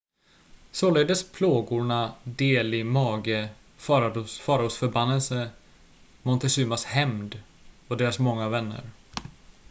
således plågorna delhi-mage faraos förbannelse montezumas hämnd och deras många vänner